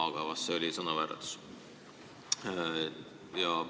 Ju see oli sõnavääratus.